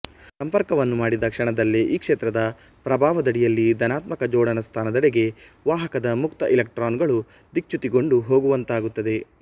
ಸಂಪರ್ಕವನ್ನು ಮಾಡಿದ ಕ್ಷಣದಲ್ಲೇ ಈ ಕ್ಷೇತ್ರದ ಪ್ರಭಾವದಡಿಯಲ್ಲಿ ಧನಾತ್ಮಕ ಜೋಡಣಾ ಸ್ಥಾನದೆಡೆಗೆ ವಾಹಕದ ಮುಕ್ತ ಇಲೆಕ್ಟ್ರಾನುಗಳು ದಿಕ್ಚ್ಯುತಿಗೊಂಡು ಹೋಗುವಂತಾಗುತ್ತದೆ